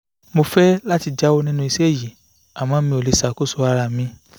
mo fẹ́ láti jáwọ́ nínú iṣẹ́ yìí àmọ́ mi ò lè ṣàkóso ara mi